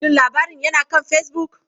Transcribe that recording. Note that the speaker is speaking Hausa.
Shin labarin yana kan Facebook?